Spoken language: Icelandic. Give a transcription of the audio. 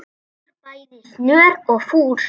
leikur bæði snör og fús.